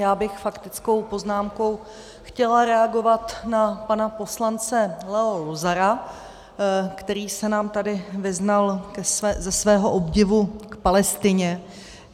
Já bych faktickou poznámkou chtěla reagovat na pana poslance Leo Luzara, který se nám tady vyznal ze svého obdivu k Palestině.